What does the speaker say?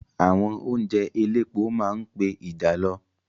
Àwọn oúnjẹ elépo máa ń pe ìjàlọ.